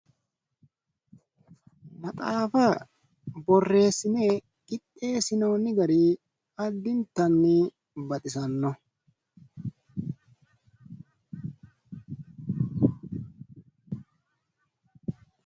Maxaafa borreessine qixxeessinoonni gari addintanni baxisanno.